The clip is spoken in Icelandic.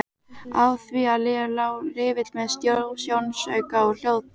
Á því lá riffill með sjónauka og hljóðdeyfi.